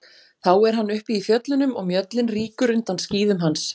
Þá er hann uppi í fjöllunum og mjöllin rýkur undan skíðum hans.